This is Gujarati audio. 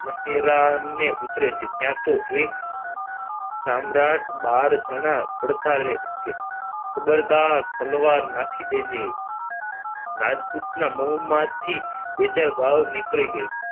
મહેરામને ઉતરે છે ત્યાં તો એક સમ્રાટ બાર જણા પડકારે છે ખબરદાર તલવાર નાખી દેજે રાજપુતના મોંમાંથી બે ચાર ગાળો નીકળી ગઈ